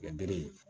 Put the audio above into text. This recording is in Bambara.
Mɛ bere ye